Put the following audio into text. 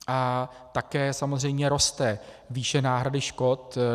A také samozřejmě roste výše náhrady škod.